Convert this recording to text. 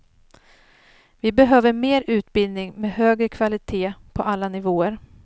Vi behöver mer utbildning med högre kvalitet på alla nivåer.